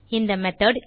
இந்த மெத்தோட்